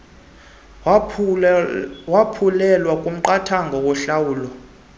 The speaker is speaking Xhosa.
waphulelwa kumqathango wentlawulo